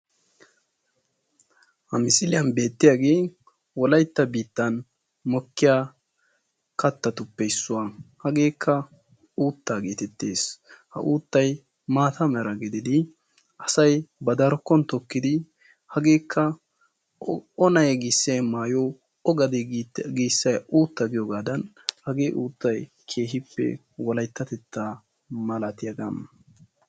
Ha misilliyan beeetiyaagee wolaytta biittan beettiya kattatuppe issuwa. hageekka uuttaa geetettees. hageekka maata mera gididi asay ba darkkon tokkidi hageekka o na'ee giissiyay maayo o gadee giissiyay uutta giyoogaadan hagee uuttay keehippe wolayttatettaa malattiyaagaa